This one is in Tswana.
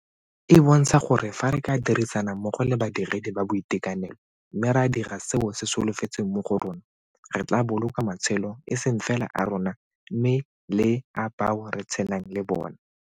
E bontsha gore fa re ka dirisana mmogo le badiredi ba boitekanelo mme ra dira seo se solofetsweng mo go rona, re tla boloka matshelo e seng fela a rona mme le a bao re tshelang le bona.